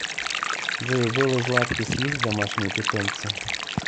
джой у беллы златкис есть домашние питомцы